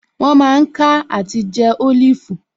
Wọ́n mà ń ká àti jẹ́ Olifu